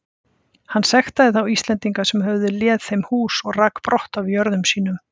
Hann sektaði þá Íslendinga sem höfðu léð þeim hús og rak brott af jörðum sínum.